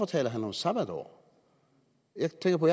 taler om sabbatår jeg tænker på